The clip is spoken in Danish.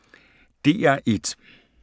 DR1